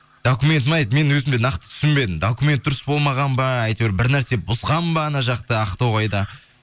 документін айтып мен өзім де нақты түсінбедім документі дұрыс болмаған ба әйтеуір бірнәрсе бұзған ба анау жақта ақтоғайда